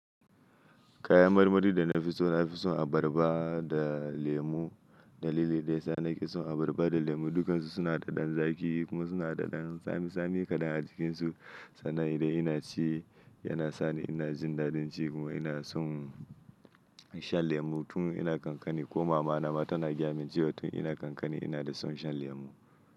Kayan marmari da na fi so na fi son abarba da lemu. Da lilili dai sa na ke son abarba da lemu dukansu suna da ɗan zaki kuma suna da ɗan tsami tsami kaɗan a jikinsu. Sannan idan ina ci yana sani ina jin dadin ci kuma ina son in sha lemu tun ina ƙanƙani. Ko mamana mata na gaya min jiya tun ina ƙanƙani ina da son shan lemu.